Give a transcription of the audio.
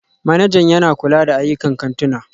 Manajan yana kula da ayyukan kantuna